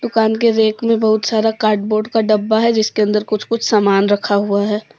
दुकान के रेक में बहुत सारा कार्डबोर्ड का डब्बा है जिसके अंदर कुछ कुछ सामान रखा हुआ है।